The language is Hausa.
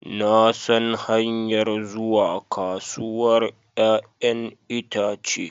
Na san hanyar zuwa kasuwar 'ya'yan itace